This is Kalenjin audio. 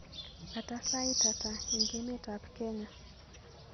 kata sait hata eng emetab Kenya